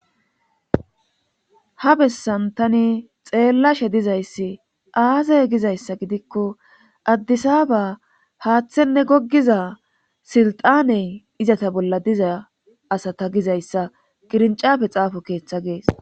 Ha bessan tani xeellashe dizayssi aazay gizayssa gidikko addisaaba paaththenne goggiza silxaney izata bolla diza asa ta gizayssa qirincafe xaafo keeththa gees.